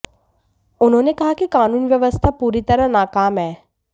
उन्होंने कहा कि कानून व्यवस्था पूरी तरह नाकाम है